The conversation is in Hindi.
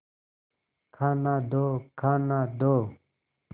खाना दो खाना दो